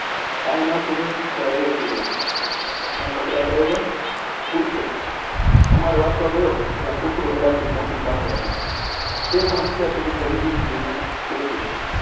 કાંઈ ન સૂઝે ત્યારે એ સૂઝે છે. મેં કપડાં પહેર્યાં. ઊઠ્યો. કમાડ વાસવા ગયો ત્યાં પૂંછડું હલાવતી મોતી પાસે આવી. તે પણ અત્યાર સુધી ગમગીન થઈને બેઠી હતી